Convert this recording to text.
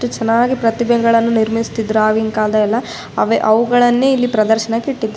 ಎಸ್ಟ್ ಚೆನ್ನಾಗಿ ಪ್ರತಿಭೆಗಳನ್ನು ನಿರ್ಮಿಸ್ತಾಯಿದ್ರು ಆಗಿನ ಕಾಲದಲ್ಲೆಲ್ಲ ಅವುಗಳನ್ನೇ ಇಲ್ಲಿ ಪ್ರದರ್ಶನಕ್ಕೆ ಇಟ್ಟಿದ್ದಾರೆ.